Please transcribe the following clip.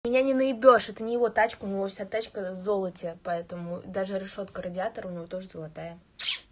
меня не нанаебёшь это не его тачка у него вся тачка в золоте поэтому даже решётка радиатора у него тоже золотая